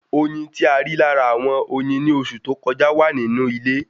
Oyin tí a rí lára àwọn oyin ni oṣù tó kọjá wa ni inu ile